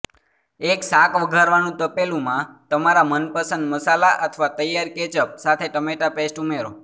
એક શાક વઘારવાનું તપેલું માં તમારા મનપસંદ મસાલા અથવા તૈયાર કેચઅપ સાથે ટમેટા પેસ્ટ ઉમેરો